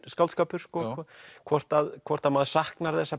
skáldskapur hvort hvort að maður saknar þess að